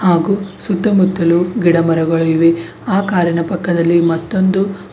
ಹಾಗೂ ಸುತ್ತ ಮುತ್ತಲು ಗಿಡ ಮರಗಳು ಇವೆ ಆ ಕಾರಣ ಪಕ್ಕದಲ್ಲಿ ಮತ್ತೊಂದು--